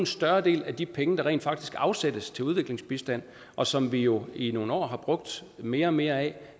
større del af de penge der rent faktisk afsættes til udviklingsbistand og som vi jo i nogle år har brugt mere og mere af